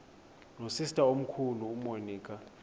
nosister omkhulu umonica